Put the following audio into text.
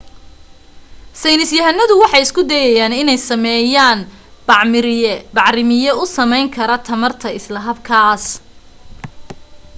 saynis yahanadu waxay isku dayayaan inay sameeyaan bacrimiye u samayn kara tamarta isla habkaas